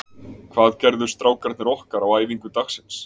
Hvað gerðu strákarnir okkar á æfingu dagsins?